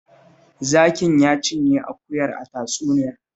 Zakin ya cinye akuyar a tatsuniyar